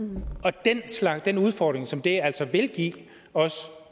den udfordring som det altså vil give os